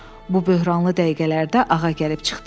Bu böhranlı dəqiqələrdə ağa gəlib çıxdı.